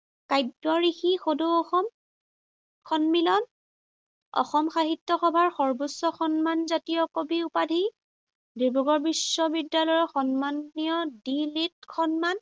কাব্যঋষি সদৌ অসম সন্মিলন, অসম সাহিত্য সভাৰ সৰ্বোচ্চ সন্মানজাতীয় কবি উপাধি, ডিব্ৰুগড় বিশ্ববিদ্যালয়ৰ সন্মানীয় দি লীট সন্মান,